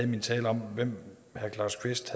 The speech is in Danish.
min tale om hvem herre claus kvist